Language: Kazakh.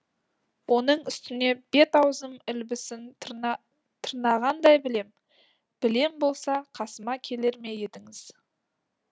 оның үстіне бет аузым ілбісін тырна тырнағандай білем білем болса қасыма келер ме едіңіздер